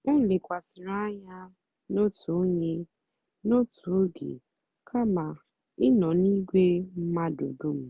o lèkwàsị̀rị́ ànyá n'otù ònyè n'otù ógè kàma ị̀ nọ́ n'ìgwè mmadụ́ dùm.